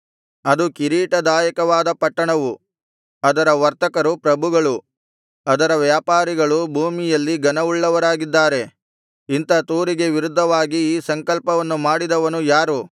ಅದು ಕಿರೀಟದಾಯಕವಾದ ಪಟ್ಟಣವು ಅದರ ವರ್ತಕರು ಪ್ರಭುಗಳು ಅದರ ವ್ಯಾಪಾರಿಗಳು ಭೂಮಿಯಲ್ಲಿ ಘನವುಳ್ಳವರಾಗಿದ್ದಾರೆ ಇಂಥ ತೂರಿಗೆ ವಿರುದ್ಧವಾಗಿ ಈ ಸಂಕಲ್ಪವನ್ನು ಮಾಡಿದವನು ಯಾರು